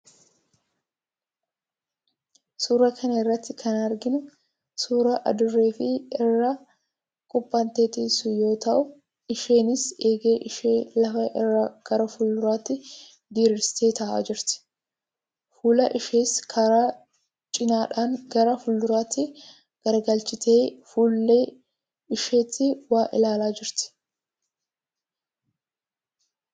Suuraa kana irratti kan arginu suuraa adurree of irra kuphanteeteessu yoo ta'u, isheenis eegee ishee lafa irraa gara fuulduraatti diriirsitee ta'aa jirti. Fuula ishees karaa cinaadhaan gara fuulduraatti garagalchiitee fuullee isheetti waa ilaalaa jirti.